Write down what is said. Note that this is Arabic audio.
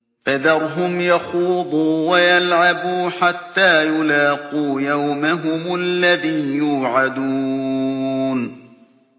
فَذَرْهُمْ يَخُوضُوا وَيَلْعَبُوا حَتَّىٰ يُلَاقُوا يَوْمَهُمُ الَّذِي يُوعَدُونَ